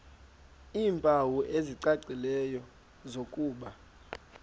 iimpawu ezicacileyo zokuba